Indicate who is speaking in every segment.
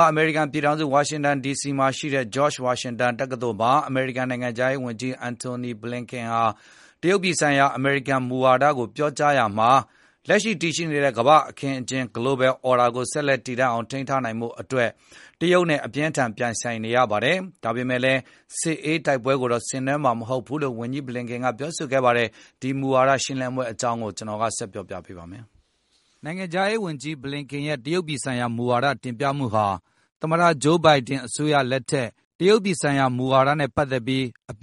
Speaker 1: က အမေရိကန်ပြည်ထောင်စု ဝါရှင်တန်ဒီစီမှာရှိတဲ့ George Washington University တက္ကသိုလ်မှာ အမေရိကန်နိုင်ငံခြားရေးဝန်ကြီး Antony Blinken က တရုတ်ပြည်ဆိုင်ရာ အမေရိကန်မူဝါဒကို ပြောကြားရာမှာ၊ “လက်ရှိတည်ရှိနေတဲ့ ကမ္ဘာ့အခင်းအကျင်း Global Order ကို ဆက်လက် တည်တန့်အောင်ထိန်းထား နိုင်ဖို့အတွက် တရုတ်နဲ့ အပြင်းအထန်ပြိုင်ဆိုင်နေရပါတယ်။ ဒါပေမယ့်လည်း စစ်အေး တိုက်ပွဲကိုတော့ ဆင်နွှဲမှာမဟုတ်ဘူးလို့ ဝန်ကြီး Blinken ကပြောဆိုလိုက်ပါတယ်။ ကိုဇော်မိုးကျော်ကဆက်လက်တင်ပြပါမယ်။ နိုင်ငံခြားရေးဝန်ကြီး Blinken ရဲ့တရုတ်ပြည်ဆိုင်ရာမူဝါဒ တင်ပြမှုဟာ သမတ ဂျိုးဘိုင်ဒင် အစိုးရလက်ထက် အပြ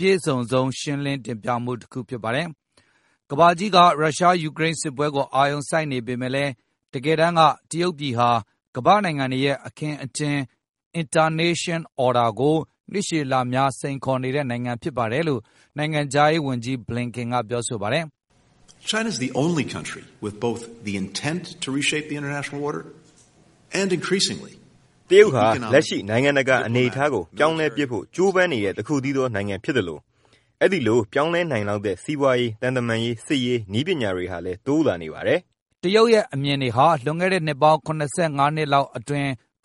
Speaker 1: ည့်စုံဆုံ းမူဝါဒရှင်းလင်းမှု တခုဖြစ်ပါတယ်။ ကမ္ဘာကြီးက ရုရှား-ယူကရိန်းစစ်ပွဲကို အာရုံစိုက်နေပေမယ့်လည်း တကယ်တမ်းက တရုတ်ပြည်ဟာကမ္ဘာနိုင်ငံတွေရဲ့ အခင်းအကျင်း Internation Order ကို နှစ်ရှည်လများ စိန်ခေါ်နေတဲ့နိုင်ငံ ဖြစ်ပါတယ်လို့ နိုင်ငံခြားရေးဝန်ကြီး Blinken ကပြောဆိုပါတယ်။
Speaker 2: “တရုတ်ဟာ လက်ရှိနိုင်ငံတကာ အနေအထားကို ပြောင်းလဲပစ်ဖို့ ကြိုးပမ်းနေတဲ့တခုတည်းသော နိုင်ငံဖြစ်သလို၊ အဲဒိလိုပြောင်းလဲနိုင်လောက်တဲ့ စီးပွားရေး၊ သံတမန်ရေး၊ စစ်ရေး၊ နည်းပညာ တွေဟာလည်းတိုးလာနေပါတယ်။
Speaker 1: ” တရုတ်ရဲ့အမြင်တွေဟာ လွန်ခဲ့တဲ့နှစ်ပေါင်း ၇၅ နှစ်လောက်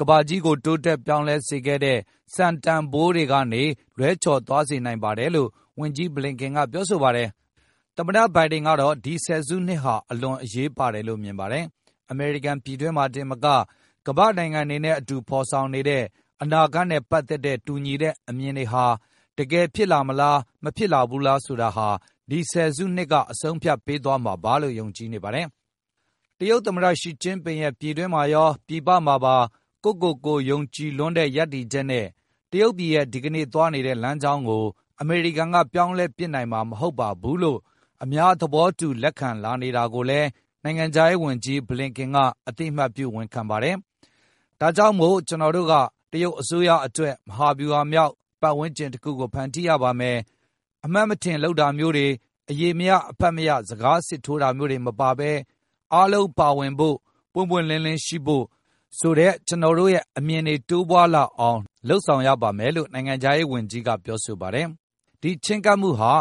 Speaker 1: ကမ္ဘာကြီးကိုတိုးတက် ပြောင်းလဲစေခဲ့တဲ့ စံတန်ဘိုးတွေကနေ လွဲချော်သွားစေနိုင်ပါတယ်လို့လည်း ဝန်ကြီး Blinken ကပြောဆိုပါတယ်။ သမ္မတဘိုင်ဒင်ကတော့ ဒီဆယ်စုနှစ်ဟာ အလွန်အရေးပါတယ် လို့မြင်ပါတယ်။ အမေရိကန်ပြည်တွင်းမှာတင်သာမက ကမ္ဘာ့နိုင်ငံတွေနဲ့ အတူဖေါ်ဆောင်နေတဲ့ အနာဂတ်နဲ့ ပတ်သက်တဲ့ တူညီတဲ့အမြင်တွေဟာ တကယ်ဖြစ်လာမလားမလာ ဘူးလားဆိုတာ ဒီဆယ်စုနှစ်ကအဆုံးအဖြတ်ပေးသွားမှာလို့ ယုံကြည်နေပါတယ်။ တရုတ်သမတ ရှီကျင်းပင်ရဲ့ ပြည်တွင်းမှာရော၊ ပြည်ပမှာပါ ကိုယ့်ကိုယ်ကိုယုံကြည်လွန်းတဲ့ ရပ်တည်ချက်နဲ့ တရုတ်ပြည်ရဲ့ ဒီကနေ့သွားနေတဲ့လမ်းကြောင်းကို အမေရိကန်က ပြောင်းလဲပစ်နိုင်မှာ မဟုတ်ပါဘူးလို့ အများသဘောတူ လက်ခံလာနေတာကိုလည်း နိုင်ငံခြားရေးဝန်ကြီး Blinken ကအသိအမှတ်ပြုဝန်ခံပါတယ်။ ဒါကြောင့်မို့ ကျနော်တို့က တရုတ်အစိုးရအတွက် မဟာဗျူဟာမြောက် ပတ်ဝန်းကျင်တခုကို ဖန်တီးရပါမယ်၊ အမှတ်မထင်လုပ်တာမျိုးတွေ၊ အရေမရ အဖတ်မရ စကားစစ်ထိုးတာတွေ မပါဘဲ၊ အားလုံးပါဝင်ဖို့၊ ပွင့်ပွင့်လင်းလင်းရှိဖို့ ဆိုတဲ့ ကျနော်တို့ရဲ့အမြင်တွေ တိုးပွားလာ အောင်လုပ်ဆောင်ရပါမယ်လို့ နိုင်ငံခြားရေးဝန်ကြီးကပြောပါတယ်။ ဒီချဉ်းကပ်မှုဟာ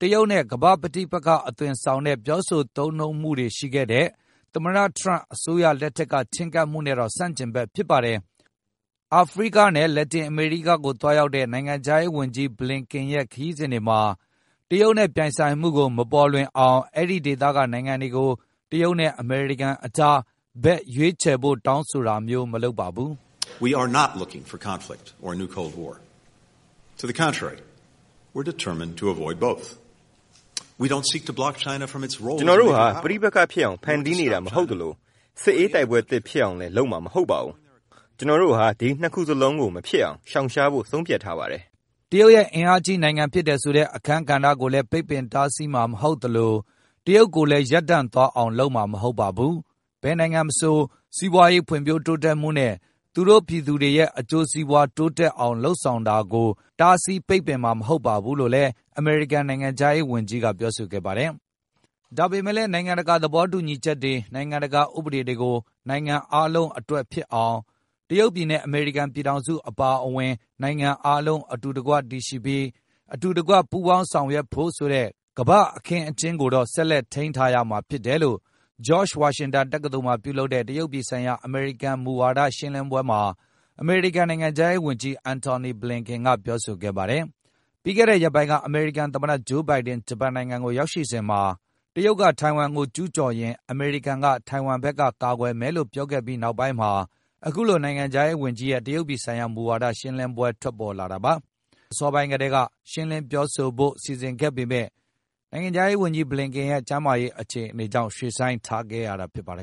Speaker 1: တရုတ်နဲ့ ကမ္ဘာ့ပဋိပက္ခအသွင်ဆောင်တဲ့ ပြောဆိုသုံးနှုန်းမှုတွေရှိခဲ့တဲ့ သမတထရန့်အစိုးရရဲ့ ချဉ်းကပ်မှုနဲ့တော့ ဆန့်ကျင်ဘက်ဖြစ်ပါတယ်။ အာဖရိကနဲ့ လက်တင်အမေရိကကို သွားရောက်တဲ့ နိုင်ငံခြားရေးဝန်ကြီး Blinken ရဲ့ ခရီးစဉ်တွေမှာ တရုတ်နဲ့ ပြိုင်ဆိုင်မှုကိုမပေါ်လွင်အောင် အဲဒီဒေသက နိုင်ငံတွေကို တရုတ်နဲ့ အမေရိကန်အကြား ဘက်ရွေးချယ်ဖို့ တောင်းဆိုတာမျိုးမလုပ်ပါဘူး။
Speaker 2: “ ကျနော်တို့ဟာ ပဋိပက္ခဖြစ်အောင် ဖန်တီးနေတာမဟုတ်သလို၊ စစ်အေးတိုက်ပွဲသစ်ဖြစ်အောင်လည်း လုပ်မှာမဟုတ်ပါဘူး။ ကျနော်တို့ဟာ ဒီနှစ်ခုစလုံးကို မဖြစ်အောင်ရှောင်ရှားဖို့ ဆုံးဖြတ်ထားပါတယ်။
Speaker 1: ” တရုတ်ရဲ့အင်အားကြီးနိုင်ငံဖြစ်တယ်ဆိုတဲ့ အခန်းကဏ္ဍကိုလည်း ပိတ်ပင်တားဆီးမှ ာမဟုတ်သလို၊ တရုတ်ကိုလည်း ရပ်တန့်သွားအောင် လုပ်မှာမဟုတ်ပါဘူး၊ ဘယ်နိုင်ငံမဆို၊ စီးပွားရေး ဖွံဖြိုးတိုးတက်မှုနဲ့ သူတို့ရဲ့ ပြည်သူတွေရဲ့ အကျိုးစီးပွားတိုးတက်လာအောင် လုပ်ဆောင်တာကို တားဆီးပိတ်ပင်မှာ မဟုတ်ပါဘူးလို့လည်း အမေရိကန်နိုင်ငံခြားရေးဝန်ကြီးက ပြောဆိုခဲ့ပါတယ်။ ဒါပေမယ့်လည်း နိုင်ငံတကာသဘောတူညီချက်တွေ၊ နိုင်ငံတကာဥပဒေတွေကို နိုင်ငံအားလုံးအတွက်ဖြစ်အောင်၊ တရုတ်ပြည်နဲ့ အမေရိကန်ပြည်ထောင်စုအပါအဝင်၊ နိုင်ငံအားလုံး အတူတကွတည်ရှိပြီး၊ အတူတကွ ပူးပေါင်းဆောင်ရွက်ဖို့ ဆိုတဲ့ကမ္ဘာအခင်းအကျင်းကိုတော့ ဆက်ထိန်းထားရမှာ ဖြစ်တယ်လို့ George Washington တက္ကသိုလ်မှာ ပြုလုပ်တဲ့ တရုတ်ပြည်ဆိုင်ရာ အမေရိကန်မူဝါဒရှင်းလင်းပွဲမှာ အမေရိကန်နိုင်ငံခြားရေးဝန်ကြီး Antony Blinken ကပြောဆိုခဲ့ပါတယ်။ ပြီးခဲ့တဲ့ရက်ပိုင်းက အမေရိကန်သမတ ဂျိုးဘိုင်ဒင် ဂျပန်နိုင်ငံမှာရောက်ရှိစဉ်က တရုတ် က ထိုင်ဝမ်ကို ကျူးကျော်ရင် အမေရိကန်က ထိုင်ဝမ်ဘက်ကာကွယ်မယ်လို့ ပြောခဲ့ပြီး နောက်ပိုင်းမှာ အခုလိုနိုင်ငံခြားရေးဝန်ကြီးရဲ့ တရုတ်ပြည်ဆိုင်ရာ မူဝါဒရှင်းလင်းပွဲထွက် ပေါ်လာတာပါ။ ပြီးခဲ့တဲ့အစောပိုင်းကတည်း ရှင်းလင်းပြောဆိုဖို့ စီစဉ်ခဲ့ပေမယ့် ကျန်းမာရေး အခြေအနေကြောင့် ရွှေ့ဆိုင်းခဲ့ရတာဖြစ်ပါတယ်